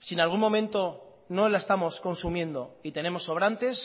si en algún momento no la estamos consumiendo y tenemos sobrantes